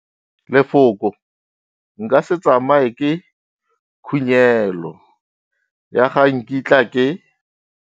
Lefoko nka se tsamaye ke khunyelo ya ga nkitla ke.